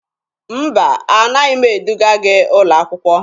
Mba, anaghị m eduga gị ụlọ akwụkwọ.